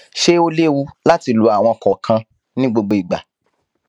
ṣé ó léwu láti lo àwọn kòòkan ní gbogbo ìgbà